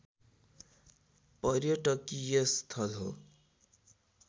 पर्यटकीय स्थल हो